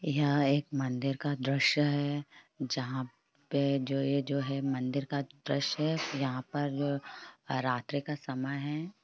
यह एक मदिर का दर्शय है जहा पे इ जो है मंदिर का द्रशय है यहा पर जो रात्रि का समय है।